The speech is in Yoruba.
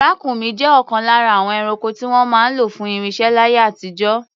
Ràkúnmí jẹ́ ọ̀kan lára àwọn ẹranko tí wọ́n máa ń lò fún ìrìnsẹ̀ láyé àtijọ́.